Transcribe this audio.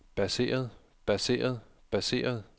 baseret baseret baseret